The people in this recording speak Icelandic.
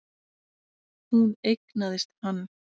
Hún eignaðist hann.